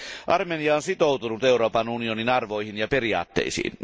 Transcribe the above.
Armenia on sitoutunut Euroopan unionin arvoihin ja periaatteisiin.